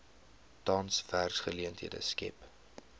tans werksgeleenthede skep